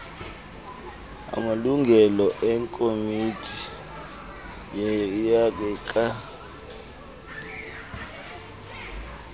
amalungu ekomiti yecandelo